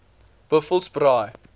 buffelsbaai